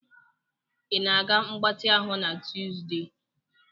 Ị ga-aga mgbatị ahụ na Tuzdee?